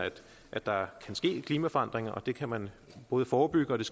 at der kan ske klimaforandringer og det kan man både forebygge og